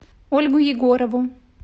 ольгу егорову